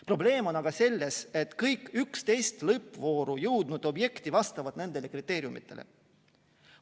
Probleem on aga selles, et kõik 11 lõppvooru jõudnud objekti vastavad nendele kriteeriumidele.